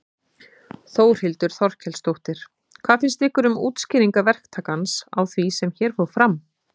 Þórhildur Þorkelsdóttir: Hvað finnst ykkur um útskýringar verktakans á því sem hér fór fram?